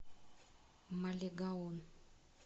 малегаон